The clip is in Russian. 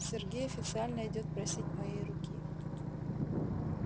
сергей официально идёт просить моей руки